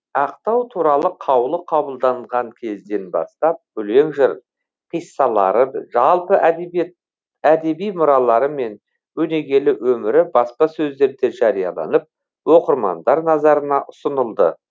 ақтау туралы қаулы қабылданған кезден бастап өлең жыр қиссалары жалпы әдеби мұралары мен өнегелі өмірі баспасөздерде жарияланып оқырмандар назарына ұсынылды